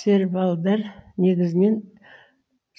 сервалдар негізінен